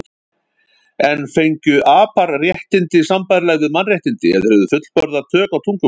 En fengju apar réttindi sambærileg við mannréttindi ef þeir hefðu fullburða tök á tungumáli?